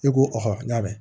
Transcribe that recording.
E ko ko n k'a bɛ